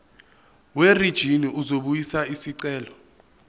werijini uzobuyisa isicelo